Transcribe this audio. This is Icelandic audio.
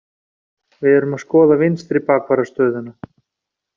Við erum að skoða vinstri bakvarðar stöðuna.